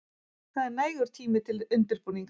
Það er nægur tími til undirbúnings.